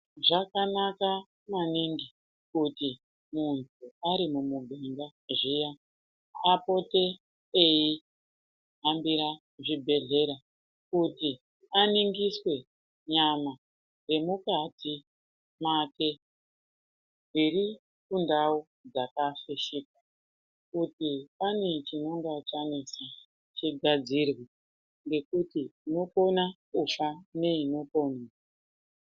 Zvakanaka maningi kuti muntu ari mumubunga zviya apote eihambira zvibhedhlera kuti aningiswe nyama dzemukati make. Dziri kundau dzakafishika kuti pane chinonga chanetsa chigadzirwe nekuti unokona kufa neino ponwa.